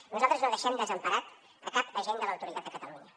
nosaltres no deixem desemparat cap agent de l’autoritat a catalunya